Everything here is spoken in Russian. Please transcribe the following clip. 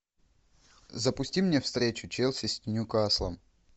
запусти мне встречу челси с ньюкаслом